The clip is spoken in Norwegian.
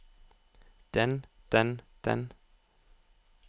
den den den